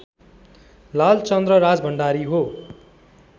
लालचन्द्र राजभण्डारी हो